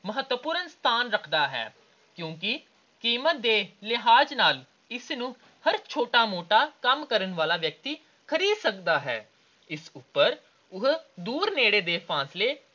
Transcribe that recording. ਮਹੱਤਵਪੂਰਨ ਸਥਾਨ ਰੱਖਦਾ ਹੈ ਕਿਉਂਕਿ ਕੀਮਤ ਦੇ ਲਿਹਾਜ ਨਾਲ ਇਸਨੂੰ ਹਰ ਛੋਟਾ-ਮੋਟਾ ਕੰਮ ਕਰਨ ਵਾਲਾ ਵਿਅਕਤੀ ਖਰੀਦ ਸਕਦਾ ਹੈ। ਇਸ ਉਪਰ ਉਹ ਦੂਰ ਨੇੜੇ ਦੇ ਫਾਸਲੇ